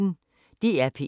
DR P1